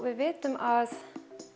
við vitum að